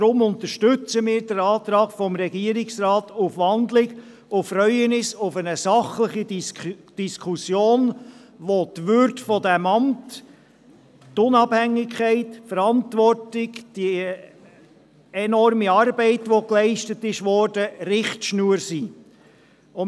Deshalb unterstützen wir den Antrag des Regierungsrats auf Wandlung und freuen uns auf eine sachliche Diskussion, für welche die Würde dieses Amts, die Unabhängigkeit, die Verantwortung und die enorme Arbeit, welche geleistet worden ist, Richtschnur sind.